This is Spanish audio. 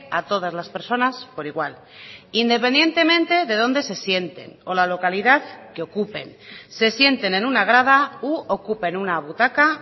a todas las personas por igual independientemente de dónde se sienten o la localidad que ocupen se sienten en una grada u ocupen una butaca